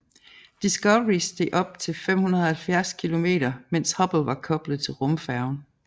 Discovery steg op til 570 km mens Hubble var koblet til rumfærgen